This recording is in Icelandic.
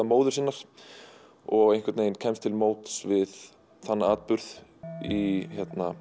móður sinnar og einhvern veginn kemst til móts við þann atburð í